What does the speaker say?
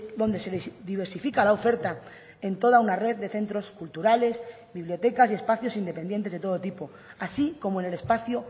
donde se diversifica la oferta en toda una red de centros culturales bibliotecas y espacios independientes de todo tipo así como en el espacio